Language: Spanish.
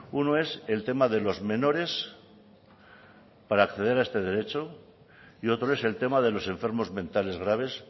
uno es el tema de los menores para acceder a este derecho y otro es el tema de los enfermos mentales graves